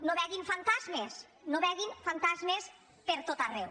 no vegin fantasmes no vegin fantasmes per tot arreu